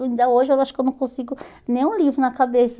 Ainda hoje, eu acho que eu não consigo nem um livro na cabeça.